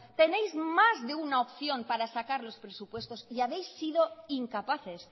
tenéis más de una opción para sacar los presupuestos y habéis sido incapaces